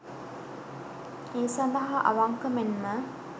ඒ සඳහා අවංක මෙන්ම